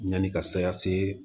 Yanni ka saya se